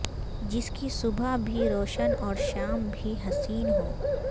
جس کی صبح بھی روشن اور شام بھی حسین ہو